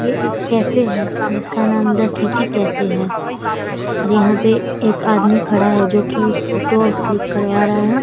ये एक कैफ़े है जिसका नाम द सिटी कैफ़े है | यहाँ पर एक आदमी खड़ा है जो की फोटो क्लिक करवा रहा है ।